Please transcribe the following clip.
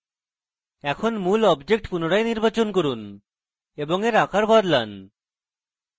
এখন মূল object পুনরায় নির্বাচন করুন এবং এর আকার বদলান